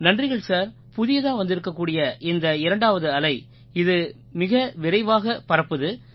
நன்றிகள் சார் புதியதா வந்திருக்கக்கூடிய இந்த இரண்டாவது அலை இது மிக விரைவாகப் பரப்புது